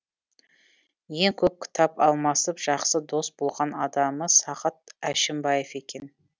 ең көп кітап алмасып жақсы дос болған адамы сағат әшімбаев екен